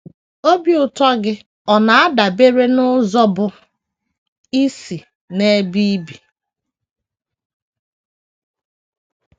OBI ụtọ gị ọ̀ na - adabere n’ụzọ bụ́ isi n’ebe i bi?